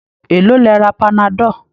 Èlòó lẹ ra panadol?